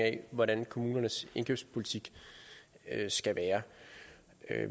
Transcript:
af hvordan kommunernes indkøbspolitik skal være